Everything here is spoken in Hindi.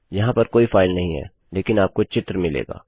यहाँ पर कोई फाइल नहीं है लेकिन आपको चित्र मिलेगा